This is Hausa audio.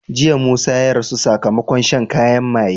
Jiya musa ya rasu sakamakon shan kayan maye